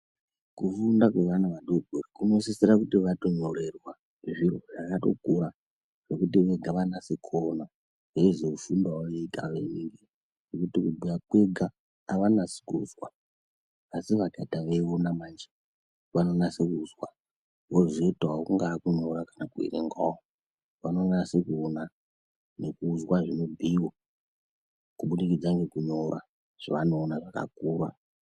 Kufunda kwevana vadodori kunosisira kuti vatonyorerwa zviro zvakatokura, zvekuti vega vanase kuona. Veizozumbawo vega ngekuti kubhuya kwega avanasi kuzwa, asi vakaita veiona manje vanonase kuzwa. Vozoitawo kungaa kunyora kana kuverengawo. Vanonase kuona nekuzwa zvinobhuiwa kubudikidza ngekunyora zvavanoona zvakakura.